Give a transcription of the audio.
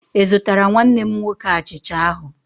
Ị zụtara nwanne m nwoke achicha ahụ